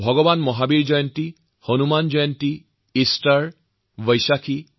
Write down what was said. সেইবোৰ হৈছেমহাবীৰ জয়ন্তী হনুমান জয়ন্তী ইষ্টাৰ আৰু বৈশাখী